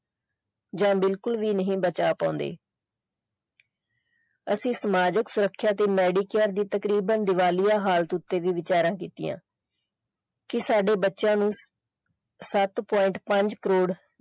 ਜਾਂ ਬਿਲਕੁਲ ਵੀ ਨਹੀਂ ਬਚਾ ਪਾਉਂਦੇ ਅਸੀਂ ਸਮਾਜਿਕ ਸੁਰੱਖਿਆ ਦੀ ਤੇ medic care ਦੀ ਤਕਰੀਬਨ ਦਿਵਾਲੀਆ ਹਾਲਤ ਉੱਤੇ ਵੀ ਵਿਚਾਰਾਂ ਕੀਤੀਆਂ ਕਿ ਸਾਡੇ ਬੱਚਿਆਂ ਨੂੰ ਸੱਤ point ਪੰਜ ਕਰੋੜ।